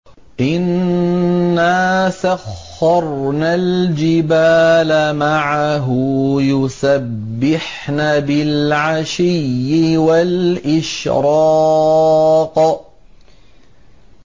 إِنَّا سَخَّرْنَا الْجِبَالَ مَعَهُ يُسَبِّحْنَ بِالْعَشِيِّ وَالْإِشْرَاقِ